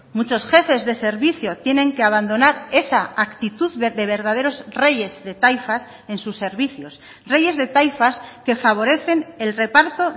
muchos jefes de servicio tienen que abandonar esa actitud de verdaderos reyes de taifas en sus servicios reyes de taifas que favorecen el reparto